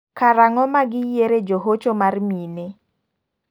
Karang'o ma gi yiere jo hocho mar mine?